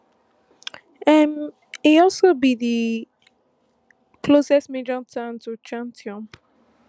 um e also be di closest major town to khartoum